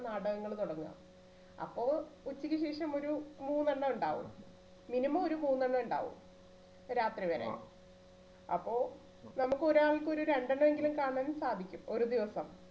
നാടകങ്ങൾ തുടങ്ങുക അപ്പോൾ ഉച്ചയ്ക്ക് ശേഷം ഒരു മൂന്നെണ്ണം ഉണ്ടാകും minimum ഒരു മൂന്നെണ്ണം ഉണ്ടാകും രാത്രി വരെ അപ്പോ നമുക്ക് ഒരാൾക്ക് ഒരു രണ്ട് എണ്ണം എങ്കിലും കാണാൻ സാധിക്കും ഒരു ദിവസം